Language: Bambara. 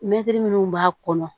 Mɛtiri minnu b'a kɔnɔ